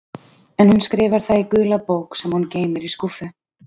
En hún skrifar það í gula bók sem hún geymir í skúffu.